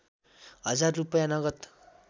हजार रूपैयाँ नगद